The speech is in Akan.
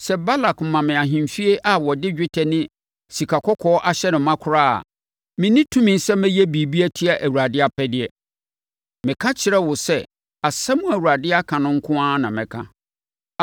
‘Sɛ Balak ma me ahemfie a wɔde dwetɛ ne sikakɔkɔɔ ahyɛ hɔ ma koraa a, menni tumi sɛ mɛyɛ biribi atia Awurade apɛdeɛ.’ Meka kyerɛɛ wo sɛ asɛm a Awurade aka no nko ara na mɛka.